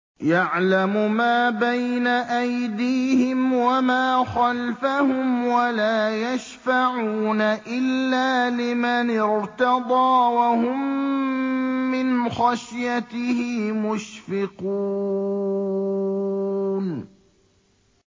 يَعْلَمُ مَا بَيْنَ أَيْدِيهِمْ وَمَا خَلْفَهُمْ وَلَا يَشْفَعُونَ إِلَّا لِمَنِ ارْتَضَىٰ وَهُم مِّنْ خَشْيَتِهِ مُشْفِقُونَ